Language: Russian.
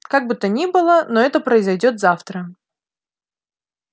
как бы то ни было но это произойдёт завтра